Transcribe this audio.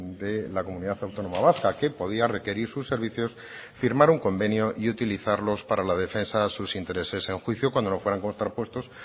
de la comunidad autónoma vasca que podía requerir sus servicios firmar un convenio y utilizarlos para la defensa de sus intereses en juicio cuando no fueran contrapuestos